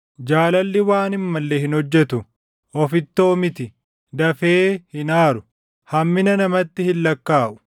Jaalalli waan hin malle hin hojjetu; ofittoo miti; dafee hin aaru; hammina namatti hin lakkaaʼu.